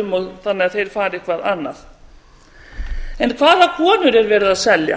um þannig að þeir fari eitthvað annað hvaða konur er verið að selja